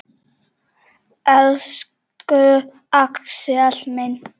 Elsku Axel minn.